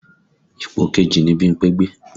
Ipò kejì ni Bímpé gbé